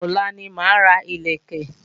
Ọ̀la ní máa ra ìlẹ̀kẹ̀